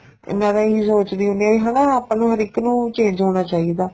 ਇਹਨਾ ਦੀ ਇਹੀ ਸੋਚਣੀ ਹੁੰਦੀ ਏ ਵੀ ਹਨਾ ਆਪਾਂ ਨੂੰ ਹਰ ਇੱਕ ਨੂੰ change ਹੋਣਾ ਚਾਹੀਦਾ